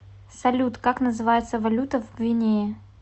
салют как называется валюта в гвинее